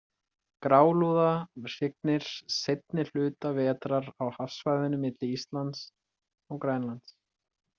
Grálúða hrygnir seinni hluta vetrar á hafsvæðinu milli Íslands og Grænlands.